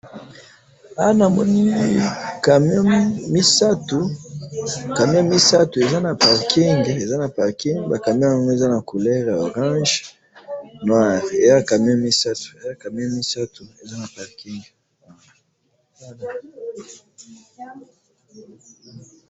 Awa namoni camions misatu , camions misatu eza na parking ,eza na parking, ba camions yango eza na couleurs ya orange, noir ,eza camions misatu ,eza camions misatu, eza na parking